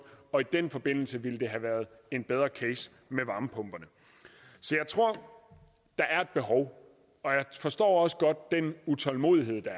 og i den forbindelse ville det have været en bedre case med varmepumperne så jeg tror der er et behov og jeg forstår også godt den utålmodighed der